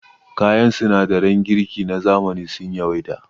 Kayan sinadaran girki na zamani sun yawaita.